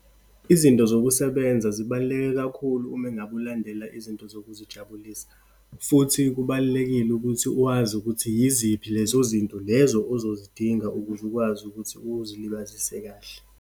Izinto zokusebenza zibaluleke kakhulu uma engabe ulandela izinto zokuzijabulisa, futhi kubalulekile ukuthi uwazi ukuthi yiziphi lezo zinto lezo ozozidinga ukuze ukwazi ukuthi uzilibazise kahle.